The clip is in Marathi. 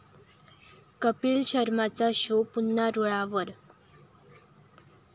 कपिल शर्माचा शो पुन्हा रुळावर